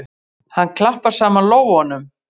Hann klappar saman lófunum.